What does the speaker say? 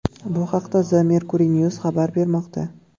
Bu haqda The Mercury News xabar bermoqda .